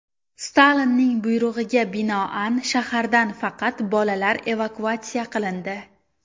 Stalinning buyrug‘iga binoan, shahardan faqat bolalar evakuatsiya qilindi.